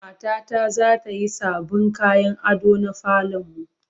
Matata za ta yi sabbin kayan ado na falon mu.